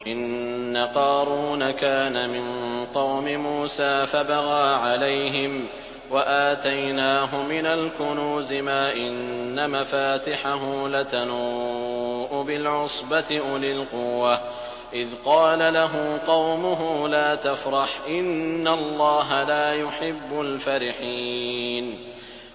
۞ إِنَّ قَارُونَ كَانَ مِن قَوْمِ مُوسَىٰ فَبَغَىٰ عَلَيْهِمْ ۖ وَآتَيْنَاهُ مِنَ الْكُنُوزِ مَا إِنَّ مَفَاتِحَهُ لَتَنُوءُ بِالْعُصْبَةِ أُولِي الْقُوَّةِ إِذْ قَالَ لَهُ قَوْمُهُ لَا تَفْرَحْ ۖ إِنَّ اللَّهَ لَا يُحِبُّ الْفَرِحِينَ